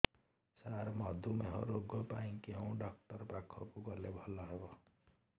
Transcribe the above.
ସାର ମଧୁମେହ ରୋଗ ପାଇଁ କେଉଁ ଡକ୍ଟର ପାଖକୁ ଗଲେ ଭଲ ହେବ